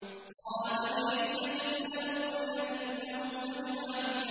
قَالَ فَبِعِزَّتِكَ لَأُغْوِيَنَّهُمْ أَجْمَعِينَ